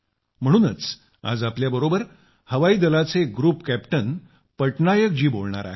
म्हणूनच आज आपल्याबरोबर हवाई दलाचे ग्रुप कॅप्टन पटनायक जी बोलणार आहेत